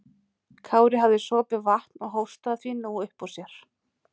Kári hafði sopið vatn og hóstaði því nú upp úr sér.